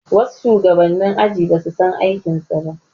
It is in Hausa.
Wasu shugabanni aji basu san aikin su ba